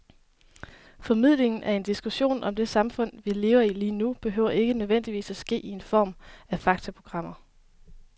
Formidlingen af en diskussion om det samfund, vi lever i lige nu, behøver ikke nødvendigvis at ske i form af faktaprogrammer.